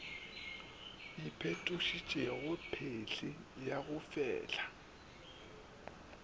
iphetošitšego phehli ya go fehla